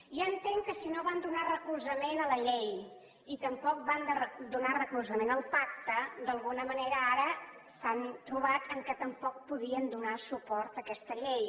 ja entenc que si no van donar recolzament a la llei i tampoc no van donar recolzament al pacte d’alguna manera ara s’han trobat que tampoc no podien donar suport a aquesta llei